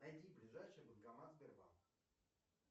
найди ближайший банкомат сбербанк